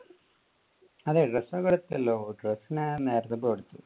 അതെ dress ഒക്കെ എടുത്തലോ ഞാൻ നേരത്തെ പോയി എടുത്തു.